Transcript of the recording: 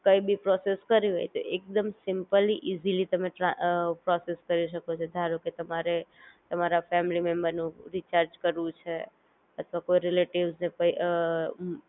કઈ બી પ્રોસેસ કરવી હોય તો એકદમ સિમપલી, ઇઝીલી તમે ટ્રા અ પ્રોસેસ કરી શકો છો, ધારો કે તમારે તમારા ફેમિલી મેમ્બર નું રીચાર્જ કરવું છે અથવા કોઈ રિલેટિવ્સ ને પઈ